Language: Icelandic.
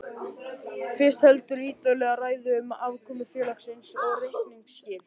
Fyrst heldurðu ítarlega ræðu um afkomu félagsins og reikningsskil.